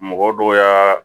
Mɔgɔ dɔw y'a